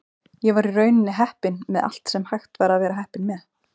Ég var í rauninni heppinn með allt sem hægt var að vera heppinn með.